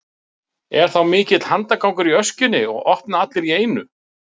Er þá mikill handagangur í öskjunni og opna allir í einu.